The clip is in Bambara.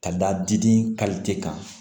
Ka da diden kan